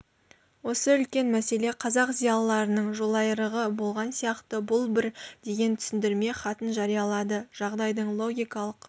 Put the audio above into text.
осы үлкен мәселе қазақ зиялыларының жолайрығы болған сияқты бұл бір деген түсіндірме хатын жариялады жағдайдың логикалық